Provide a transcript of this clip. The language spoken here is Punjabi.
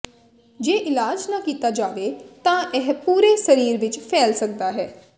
ਜੇ ਇਲਾਜ ਨਾ ਕੀਤਾ ਜਾਵੇ ਤਾਂ ਇਹ ਪੂਰੇ ਸਰੀਰ ਵਿਚ ਫੈਲ ਸਕਦਾ ਹੈ